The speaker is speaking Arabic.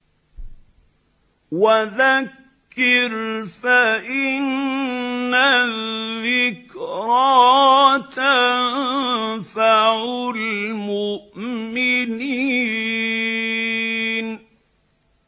وَذَكِّرْ فَإِنَّ الذِّكْرَىٰ تَنفَعُ الْمُؤْمِنِينَ